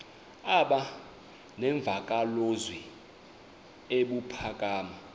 aba nemvakalozwi ebuphakama